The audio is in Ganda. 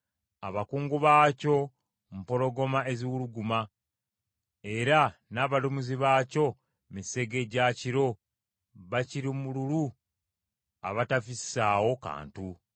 Abakungu baakyo mpologoma eziwuluguma, era n’abalamuzi baakyo misege gya kiro, bakirimululu abatafissaawo kantu.